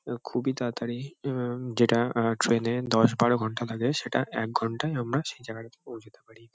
এব খুবই তাড়াতাড়ি এহ- যেটা আহ ট্রেন -এ দশ বারো ঘন্টা লাগে সেটা এক ঘন্টায় আমরা সেই জায়গাটাতে পৌঁছাতে পারি ।